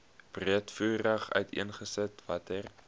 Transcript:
breedvoerig uiteengesit watter